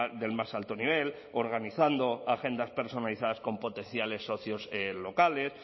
del más alto nivel organizando agendas personalizadas con potenciales socios locales